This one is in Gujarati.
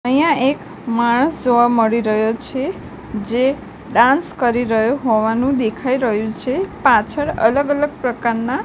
અહીંયા એક માણસ જોવા મળી રહ્યો છે જે ડાન્સ કરી રહ્યો હોવાનું દેખાય રહ્યું છે પાછળ અલગ અલગ પ્રકારના--